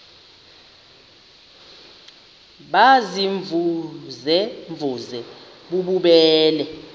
baziimvuze mvuze bububele